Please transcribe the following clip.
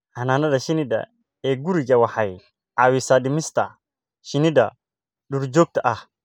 Xannaanada shinnida ee gurigu waxay caawisaa dhimista shinnida duurjoogta ah.